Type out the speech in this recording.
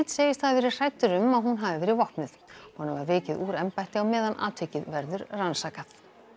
segist hafa verið hræddur um að hún hafi verið vopnuð honum var vikið úr embætti á meðan atvikið verður rannsakað